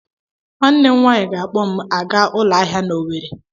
Nwanne m nwaanyị ga-akpọ m aga ụlọahia n'Owere.